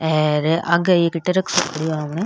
आर आगे एक ट्रक सो खड़ो है आपन।